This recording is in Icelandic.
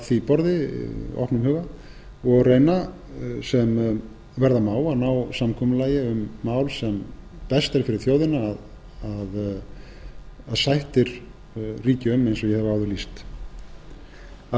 því borði opnum huga og reyna sem verða má að ná samkomulagi um mál sem best er fyrir þjóðina að sættir ríki um eins og ég hef áður lýst að